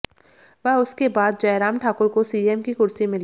व उसके बाद जय राम ठाकुर को सीएम की कुर्सी मिली